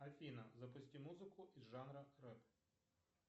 афина запусти музыку из жанра рэп